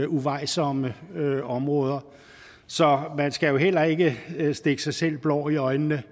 uvejsomme områder så man skal jo heller ikke stikke sig selv blår i øjnene